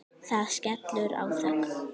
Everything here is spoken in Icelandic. Það skellur á þögn.